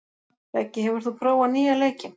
Beggi, hefur þú prófað nýja leikinn?